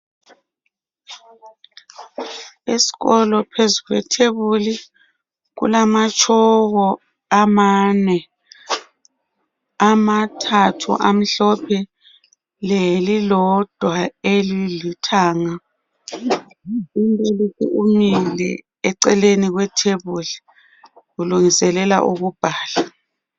Esikolo phezu kwethebuli kulamatshoko amane amathathu amhlophe lelilodwa elilithanga umbalisi eceleni kwethebuli ulungiselela ukubhala